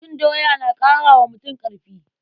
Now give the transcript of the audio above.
Cin doya na ƙara wa mutum ƙarfi.